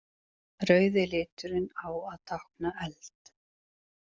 Rauði liturinn á að tákna eld.